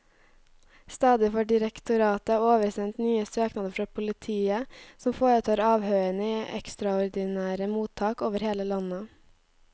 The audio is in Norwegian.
Stadig får direktoratet oversendt nye søknader fra politiet, som foretar avhørene i ekstraordinære mottak over hele landet.